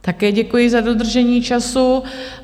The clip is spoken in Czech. Také děkuji, za dodržení času.